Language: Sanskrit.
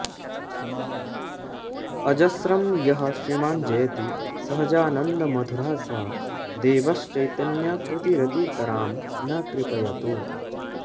अजस्रं यः श्रीमान् जयति सहजानन्दमधुरः स देवश्चैतन्याकृतिरतितरां नः कृपयतु